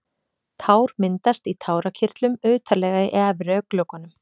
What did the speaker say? Tár myndast í tárakirtlum utarlega í efri augnlokunum.